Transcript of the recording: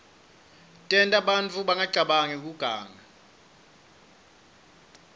tenta bantfu bangacabangi kuganga